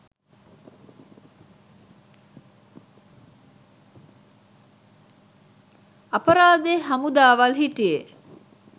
අපරාදෙ හමුදාවල් හිටියෙ